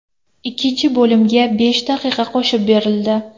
Ikkinchi bo‘limga besh daqiqa qo‘shib berildi.